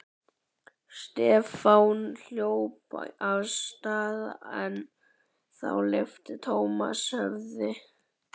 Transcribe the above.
Stefán hljóp af stað en þá lyfti Thomas höfði.